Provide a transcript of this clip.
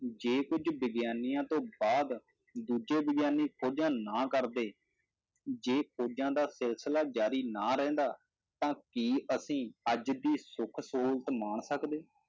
ਜੇ ਕੁੱਝ ਵਿਗਿਆਨੀਆਂ ਤੋਂ ਬਾਅਦ ਦੂਜੇ ਵਿਗਿਆਨੀ ਖੋਜਾਂ ਨਾ ਕਰਦੇ, ਜੇ ਖੋਜਾਂ ਦਾ ਸਿਲਸ਼ਿਲਾ ਜ਼ਾਰੀ ਨਾ ਰਹਿੰਦਾ, ਤਾਂ ਕੀ ਅਸੀਂ ਅੱਜ ਦੀ ਸੁੱਖ ਸਹੂਲਤ ਮਾਣ ਸਕਦੇ।